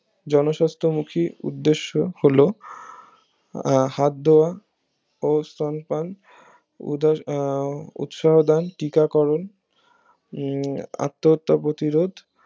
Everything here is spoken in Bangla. জনস্বাস্থ্যমুখী উদ্দেশ্য হলো আহ হাতদেওয়া ওস্তন পান উদ্ধার আহ উৎসাহদান টিকা করুন উম আত্মহত্যা প্রতিরোধ